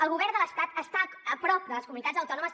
el govern de l’estat està a prop de les comunitats autò nomes